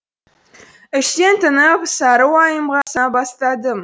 іштен тынып сары уайымға салына бастадым